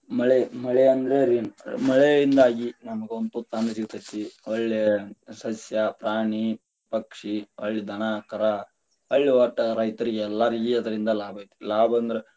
ಮಳೆ, ಮಳೆ ಅಂದ್ರ rain ಮಳೆಯಿಂದಾಗಿ ನಮಗ ಒಂದ ತುತ್ತ ಅನ್ನ ಸಿಗ್ತೇತಿ, ಒಳ್ಳೆ ಸಸ್ಯ, ಪ್ರಾಣಿ, ಪಕ್ಷಿ ಹೊಳ್ಳಿ ದನಾ, ಕರಾ ಹೊಳ್ಳಿ ವಟ್ಟ ರೈತರಗೆಲ್ಲಾ ಅದರಿಂದ ಲಾಭ ಐತಿ ಲಾಭ ಅಂದ್ರ.